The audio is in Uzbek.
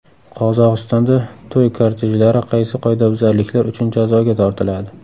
Qozog‘istonda to‘y kortejlari qaysi qoidabuzarliklar uchun jazoga tortiladi?.